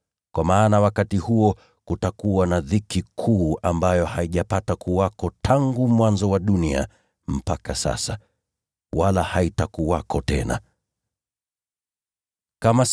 Kwa maana wakati huo kutakuwa na dhiki kuu ambayo haijapata kuwako tangu mwanzo wa dunia mpaka sasa: wala haitakuwako tena kamwe.